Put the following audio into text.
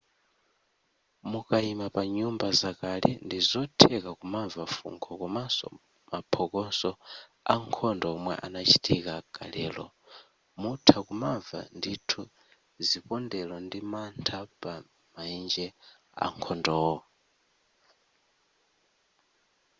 mukaima pa nyumba zakale ndi zotheka kumamva fungo komanso maphokoso ankhondo omwe anachitika kalelo mutha kumamva ndithu zipondelo ndi mantha pa maenje akhondowo